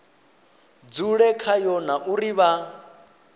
dzule khayo na uri vha